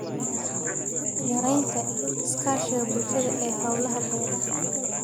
Yaraynta iskaashiga bulshada ee hawlaha beeraha.